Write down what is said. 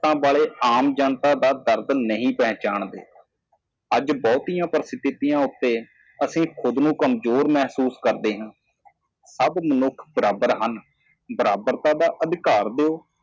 ਆਮ ਲੋਕਾਂ ਦੇ ਦਰਦ ਨੂੰ ਨਹੀਂ ਪਛਾਣਦੇ ਅੱਜ ਬਹੁਤ ਹੀ ਸਥਿਤੀ ਤੇ ਅਸੀਂ ਕਮਜ਼ੋਰ ਮਹਿਸੂਸ ਕਰਦੇ ਹਾਂ ਸਾਰੇ ਆਦਮੀ ਬਰਾਬਰ ਹਨ ਬਰਾਬਰ ਦੇ ਅਧਿਕਾਰ ਦਿਓ